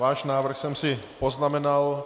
Váš návrh jsem si poznamenal.